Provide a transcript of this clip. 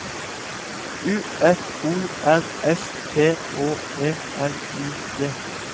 U F O R S T Å E L I G